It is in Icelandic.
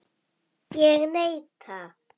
Ég neita.